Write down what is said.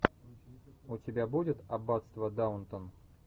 у тебя будет аббатство даунтон